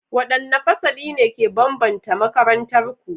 What distinguishing or peculiar features distinguish your school?